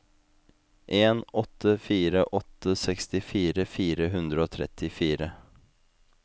en åtte fire åtte sekstifire fire hundre og trettifire